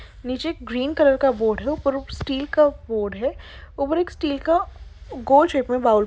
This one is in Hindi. नीचे ग्रीन कलर का बोर्ड है उपर उप स्टील का बोर्ड है उपर एक स्टील का गोल शेप में बाउल --